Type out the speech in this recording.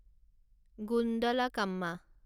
Gundlakamma